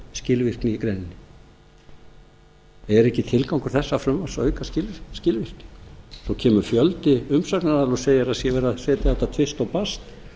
er ekki tilgangur þessa frumvarps að auka skilvirkni svo kemur fjöldi umsagnaraðila og segir að það sé verið að setja þetta á tvist og bast